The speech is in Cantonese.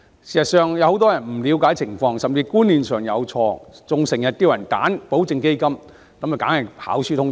事實上，有很多人不了解情況，甚至觀念上有錯，還經常建議別人選擇保證基金，結果當然是跑輸通脹。